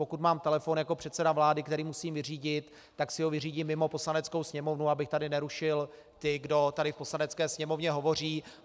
Pokud mám telefon jako předseda vlády, který musím vyřídit, tak si ho vyřídím mimo Poslaneckou sněmovnu, abych tady nerušil ty, kdo tady v Poslanecké sněmovně hovoří.